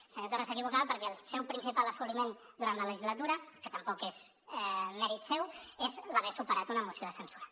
el senyor torra s’equivocava perquè el seu principal assoliment durant la legislatura que tampoc és mèrit seu és l’haver superat una moció de censura